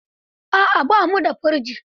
A'a, ba mu da firji.